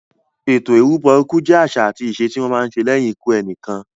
Ètò ìrúbọ ikú jẹ àṣà àti ìṣe tí wọ́n má ń ṣe lẹ́yìn ikú ẹnìkan.